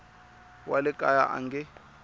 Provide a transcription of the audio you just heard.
wa le kaya a nge